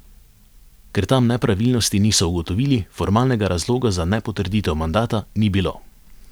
Ker tam nepravilnosti niso ugotovili, formalnega razloga za nepotrditev mandata ni bilo.